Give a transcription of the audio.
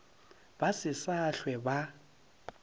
ba se sa hlwe ba